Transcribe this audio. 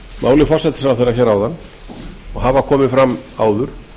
máli forsætisráðherra áðan og hafa komið fram áður